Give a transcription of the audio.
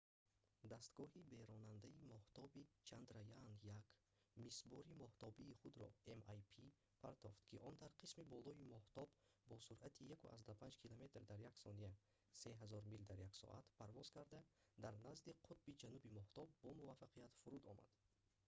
дастгоҳи беронандаи моҳтобӣ чандраяаан-1 мисбори моҳтобии худро mip партофт ки он дар қисми болои моҳтоб бо суръати 1,5 километр дар як сония 3000 мил дар як соат парвоз карда дар назди қутби ҷануби моҳтоб бомуваффақият фуруд омад